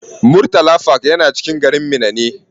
Murtala park yana cikin garin Minna ne.